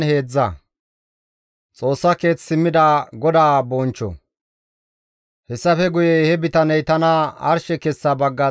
Hessafe guye he bitaney tana arshe kessa bagga xeelliza pengeekko ehides.